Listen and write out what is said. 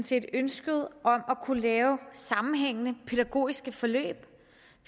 set ønsket om at kunne lave sammenhængende pædagogiske forløb